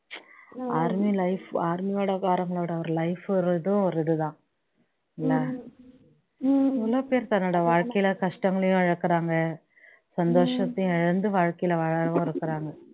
army life army யோட ளோட life ஒரு இதும் இதுதான் என்ன எவ்வளவுபேர் தங்களோட வாழ்க்கையில கஷ்டங்களையும் இழக்குறாங்க சந்தோசத்தையும் இழந்து வாழ்க்கையில வாழறவங்களும் இருக்காங்க